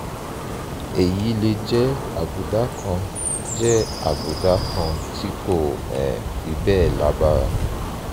èyí lè jẹ́ àbùdá kan jẹ́ àbùdá kan tí kò um fi bẹ́ẹ̀ lágbára